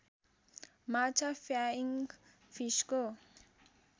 माछा फ्याइङ फिसको